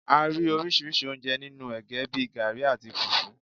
A rí oríṣi oúnjẹ nínú ẹ̀gẹ́ bíi garri, àti fùfú.